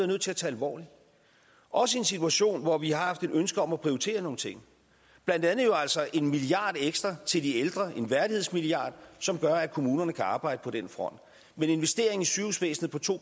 nødt til at tage alvorligt også i en situation hvor vi har haft et ønske om at prioritere nogle ting blandt andet jo altså en milliard kroner ekstra til de ældre en værdighedsmilliard som gør at kommunerne kan arbejde på den front med en investering i sygehusvæsenet på to